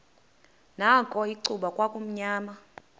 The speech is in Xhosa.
nakho icuba kwakumnyama